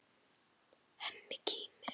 Hemmi kímir.